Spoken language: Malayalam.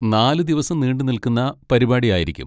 നാലുദിവസം നീണ്ടുനിൽക്കുന്ന പരിപാടി ആയിരിക്കും.